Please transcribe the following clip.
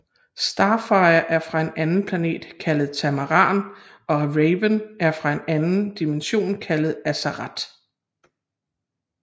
Starfire er fra en anden planet kaldet Tamaran og Raven er fra en anden dimension kaldet Azarath